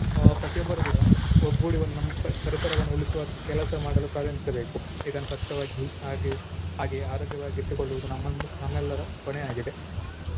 ಆ ಪ್ರತಿಯೊಬ್ಬರೂ ಕೂಡ ಒಗ್ಗೂಡಿ ಒಂದ್ ನಮ್~ ಪ~ ಪರಿಸರವನ್ನು ಉಳಿಸುವ ಕೆಲಸ ಮಾಡಲು ಪ್ರಾರಂಭಿಸಬೇಕು ಇದನ್ನು ಸ್ವಚ್ಛವಾಗಿ ಹಾಗೆ ಹಾಗೆ ಆರೋಗ್ಯವಾಗಿ ಇಟ್ಟುಕೊಳ್ಳುವುದು ನಮ್ಮ~ ನಮ್ಮೆಲ್ಲರ ಹೊಣೆ ಆಗಿದೆ.